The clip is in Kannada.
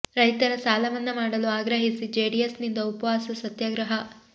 ರೈತರ ಸಾಲ ಮನ್ನಾ ಮಾಡಲು ಆಗ್ರಹಿಸಿ ಜೆಡಿಎಸ್ ನಿಂದ ಉಪವಾಸ ಸತ್ಯಾಗ್ರಹ